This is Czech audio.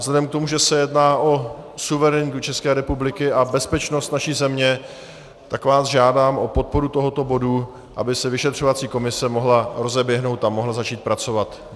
Vzhledem k tomu, že se jedná o suverenitu České republiky a bezpečnost naší země, tak vás žádám o podporu tohoto bodu, aby se vyšetřovací komise mohla rozeběhnout a mohla začít pracovat.